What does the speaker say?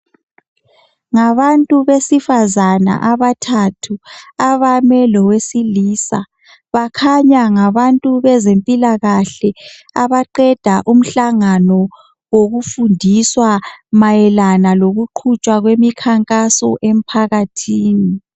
Ngabantu besifazana abathathu abame lowesilisa, bakhanya ngabantu bezempilakahle abaqeda umhlangano wokufundiswa mayelana lokuqhutshwa kwemikhankaso emphakathini